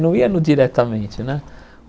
Não ia no diretamente, né?